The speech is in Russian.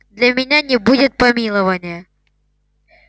для меня не будет помилования